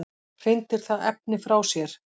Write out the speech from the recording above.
Hrindir það efni frá sér?